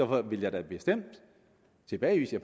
vil da bestemt tilbagevise at